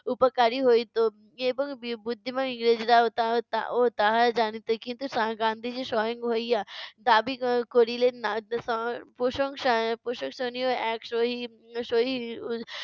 উপকারী হইতো এবং বি~ বুদ্ধিমান ইংরেজরাও তা~ তা~ ও তাহা জানিত। কিন্তু সা~ গান্ধীজী সহিং হইয়া দাবি ক~ করিলেন না। প্রশংসা আহ প্রশংসনীয় এক সহিং উম সহি